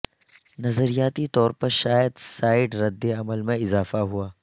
نظریاتی طور پر شاید سائڈ رد عمل میں اضافہ ہوا